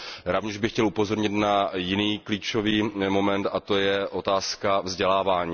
Rovněž bych chtěl upozornit na jiný klíčový moment, a to je otázka vzdělávání.